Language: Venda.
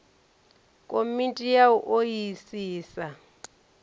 komiti ya u o isisa